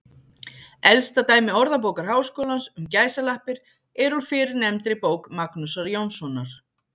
Elsta dæmi Orðabókar Háskólans um gæsalappir er úr fyrrnefndri bók Magnúsar Jónssonar.